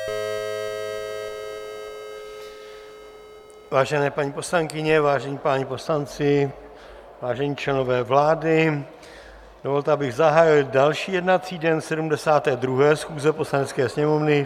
Vážené paní poslankyně, vážení páni poslanci, vážení členové vlády, dovolte, abych zahájil další jednací den 72. schůze Poslanecké sněmovny.